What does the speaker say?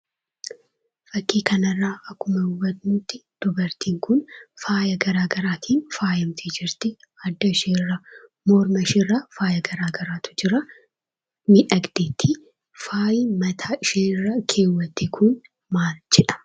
Akkuma fakkii kana irraa hubannu dubartiin Kun faayya garaa gariin faayyamtee jirti; adda ishee irra, morma ishee irra faayya garaa gariitu jira faayyi Kun maal jedhama ?